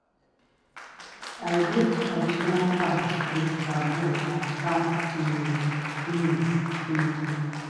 i build traditional farm with bamboo and palm um leaf. um